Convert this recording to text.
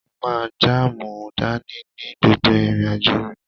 Mo máa jaamu dání ní gbogbo irin-ajo mi.